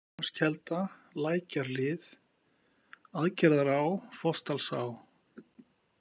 Góðalónskelda, Lækjarhlið, Aðgerðará, Fossdalsá